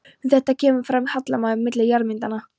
Við þetta kemur fram hallamunur milli jarðmyndana.